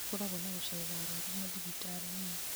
nĩgukoragwo na gũcerera arwaru mathibitarĩini